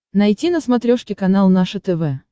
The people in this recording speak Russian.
найти на смотрешке канал наше тв